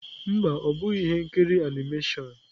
Mba, ọ bụghị ihe nkiri animation.